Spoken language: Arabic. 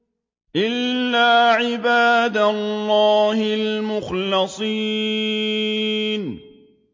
إِلَّا عِبَادَ اللَّهِ الْمُخْلَصِينَ